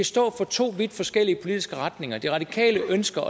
stå for to vidt forskellige politiske retninger det radikale venstre